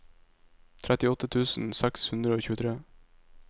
trettiåtte tusen seks hundre og tjuetre